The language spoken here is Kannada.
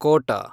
ಕೋಟ